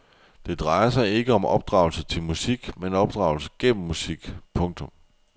Det drejer sig ikke om opdragelse til musik men opdragelse gennem musik. punktum